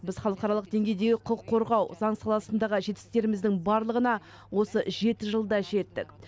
біз халықаралық деңгейдегі құқық қорғау заң саласындағы жетістіктеріміздің барлығына осы жеті жылда жеттік